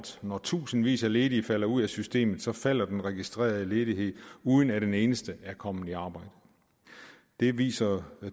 når tusindvis af ledige falder ud af systemet falder den registrerede ledighed uden at en eneste er kommet i arbejde det viser